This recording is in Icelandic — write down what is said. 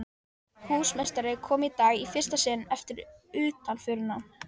Húsameistari kom í dag í fyrsta sinn eftir utanförina.